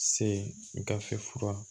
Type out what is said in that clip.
Se gafe fura